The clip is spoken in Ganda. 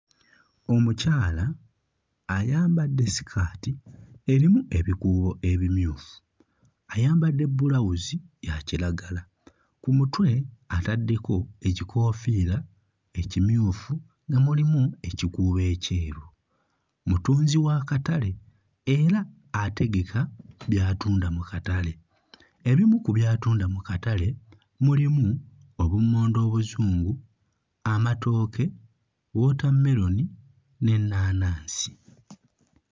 Omukyala ayambadde sikaati erimu ebikuubo ebimyufu, ayambadde bulawuzi ya kiragala, ku mutwe ataddeko ekikoofiira ekimyufu nga mulimu ekikuubo ekyeru, mutunzi wa katale era ategeka by'atunda mu katale. Ebimu ku by'atunda mu katale mulimu obummonde obuzungu, amatooke, wootammeroni n'ennaanansi.